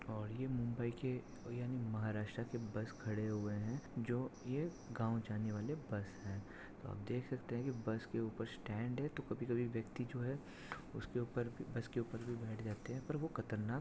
और ये मुंबई के यानि महाराष्ट्रा के बस खड़े हुए है। जो ये गाव जाने वाले बस है। आप देख सकते है की बस के ऊपर स्टैंड है। तो कभी कभी व्यक्ति जो है। उसके उपर भी बस के उपर भी बैठ जाते है। पर वो खतरनाक --